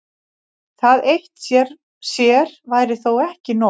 Það eitt sér væri þó ekki nóg.